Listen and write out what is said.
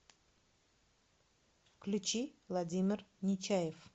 включи владимир нечаев